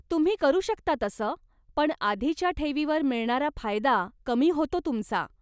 तुम्ही करू शकता तसं, पण आधीच्या ठेवीवर मिळणारा फायदा कमी होतो तुमचा.